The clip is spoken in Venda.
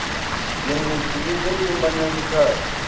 dzhendedzi ḽi ḓo ṱumanya zwikhala